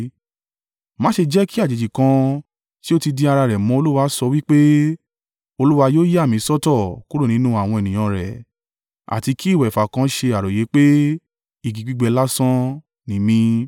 Má ṣe jẹ́ kí àjèjì kan tí ó ti di ara rẹ̀ mọ́ Olúwa sọ wí pé, “Olúwa yóò yà mí sọ́tọ̀ kúrò nínú àwọn ènìyàn rẹ̀.” Àti kí ìwẹ̀fà kan ṣe àròyé pé, “Igi gbígbẹ lásán ni mí.”